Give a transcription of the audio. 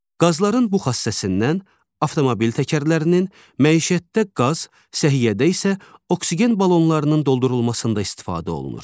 Qazların bu xassəsindən avtomobil təkərlərinin, məişətdə qaz, səhiyyədə isə oksigen balonlarının doldurulmasında istifadə olunur.